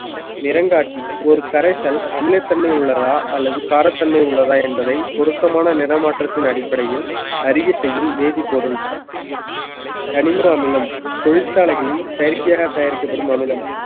நிறங்காட்டி ஒரு கரைசல் அமிலத்தன்மை உள்ளதா அல்லது காரத்தன்மை உள்ளதா என்பதை பொருத்தமான நிறமாற்றத்தின் அடிப்படையில் அறிய செய்யும் வேதிப்பொருள் கனிம அமிலம் தொழிற்சாலைகளில் செயற்கையாக தயாரிக்கப்படும் அமிலம்